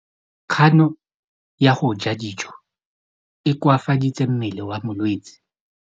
Kganô ya go ja dijo e koafaditse mmele wa molwetse.